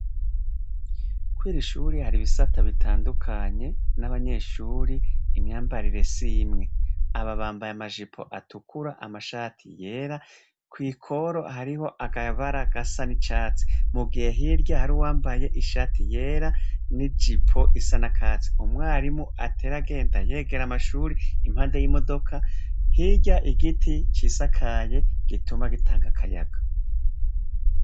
Kw'iri shuri hari ibisata bitandukanye n'abanyeshuri imyambarire s'imwe, aba bambaye amajipo atukura amashati yera kw'ikoro hariho akabara gasa n'icatsi, mu gihe hirya hari uwambaye ishati yera n'ijipo isa n'akatsi, umwarimu atera agenda yegera amashuri impande y'imodoka, hirya igiti cisakaye gituma gitanga akayaga.